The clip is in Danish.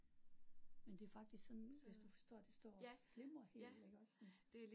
Men det er faktisk sådan hvis du forstår det står og flimrer helt iggås sådan